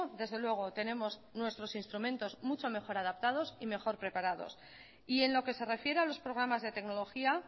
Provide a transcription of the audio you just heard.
desde luego tenemos nuestros instrumentos mucho mejor adaptados y mejor preparados y en lo que se refiere a los programas de tecnología